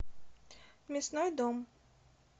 мясной дом